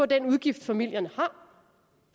den udgift familierne har